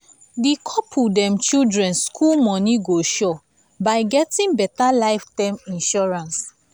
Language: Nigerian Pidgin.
the couple dem children school money go sure by getting better life term insurance.